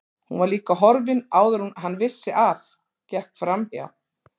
Hún var líka horfin áður en hann vissi af, gekk framhjá